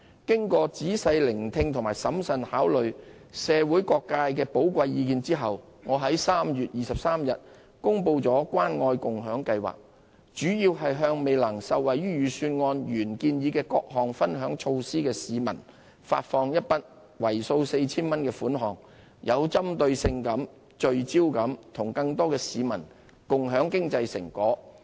經過仔細聆聽和審慎考慮社會各界的寶貴意見後，我在3月23日公布了關愛共享計劃，主要是向未能受惠於預算案原建議的各項分享措施的市民發放一筆為數 4,000 元的款項，有針對性及聚焦地與更多市民共享經濟成果。